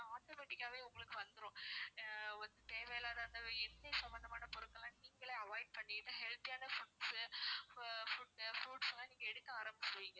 automatic காவே உங்களுக்கு வந்துரும் ஆஹ் தேவை இல்லாத அந்த எண்ணெய் சம்மந்தமான பொருட்களெல்லாம் நீங்களே avoid பண்ணிட்டு healthy யான foodsfruits லாம் நீங்க எடுக்க ஆரம்பிச்சிடுவீங்க